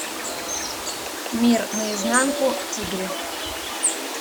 мир наизнанку тигры